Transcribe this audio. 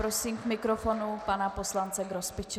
Prosím k mikrofonu pana poslance Grospiče.